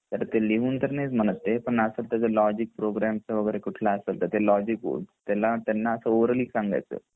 तर तर ते लिहून तर नाहीच म्हणत ते पण असा लॉजिक प्रोग्राम च कुठला असे तर ते लॉजिक त्यांना असा ओरली सांगायच